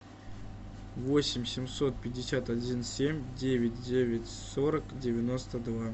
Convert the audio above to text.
восемь семьсот пятьдесят один семь девять девять сорок девяносто два